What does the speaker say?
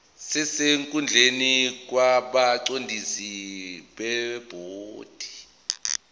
sesikhundleni kwabaqondisi bebhodi